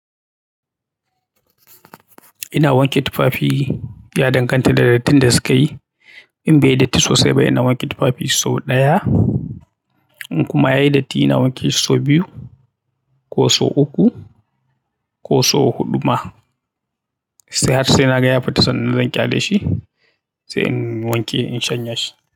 Ina wanke tufafi ya danganta da dattin da sukayi. In bai datti sosai ba ina wanke tufafi sau ɗaya. In kuma yayi datti ina wanke shi sau biyu ko sau uku ko sau huɗu ma. Ta har sai na ga ya fita sannan zan ƙyale shi sai in wanke in shanya shi.